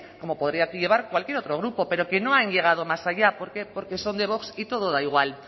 como podría llevar cualquier otro grupo pero que no han llegado más allá por qué porque son de vox y todo da igual